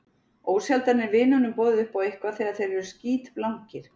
Ósjaldan er vinunum boðið upp á eitthvað þegar þeir eru skítblankir.